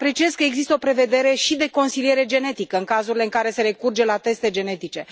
Apreciez că există o prevedere și de consiliere genetică în cazurile în care se recurge la teste genetice.